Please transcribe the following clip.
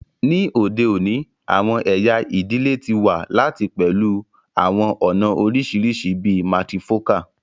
Ni ode oni, awọn ẹya idile ti wa lati pẹlu awọn ọna oriṣiriṣi bii matrifocal